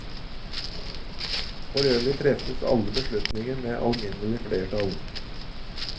Forøvrig treffes alle beslutninger med alminnelig flertall.